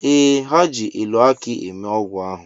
Ee, ha ji elu akị eme ọgwụ ahụ.